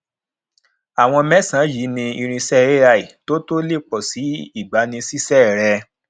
àwọn mésànán yìí ni irinṣẹ ai tó tó le pọsi ìgbanisísé rẹ